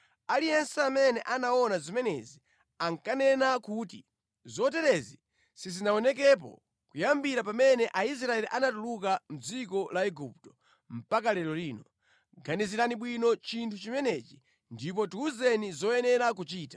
Aliyense amene anaona zimenezi ankanena kuti, “Zoterezi sizinaonekepo kuyambira pamene Aisraeli anatuluka mʼdziko la Igupto mpaka lero lino. Ganizirani bwino chinthu chimenechi ndipo tiwuzeni zoyenera kuchita!”